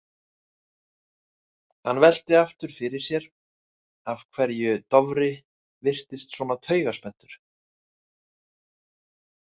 Hann velti aftur fyrir sér af hverju Dofri virtist svona taugaspenntur.